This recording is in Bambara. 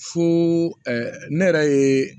Fo ne yɛrɛ ye